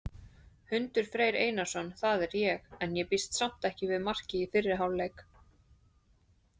Hundur Freyr Einarsson, það er ég. en ég býst samt við marki í fyrri hálfleik!